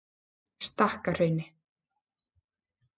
Stakkahrauni